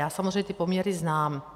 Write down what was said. Já samozřejmě ty poměry znám.